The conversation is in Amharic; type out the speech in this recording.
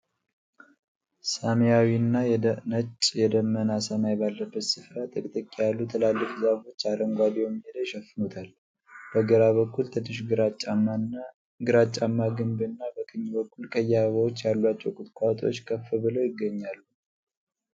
ሰማያዊና ነጭ የደመና ሰማይ ባለበት ስፍራ፣ ጥቅጥቅ ያሉ ትላልቅ ዛፎች አረንጓዴውን ሜዳ ይሸፍኑታል። በግራ በኩል ትንሽ ግራጫማ ግንብ እና፣ በቀኝ በኩል ቀይ አበባዎች ያሏቸው ቁጥቋጦዎች ከፍ ብለው ይገኛሉ።